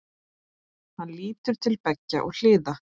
Hann lítur til beggja hliða.